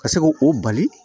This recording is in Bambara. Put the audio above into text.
Ka se k'o bali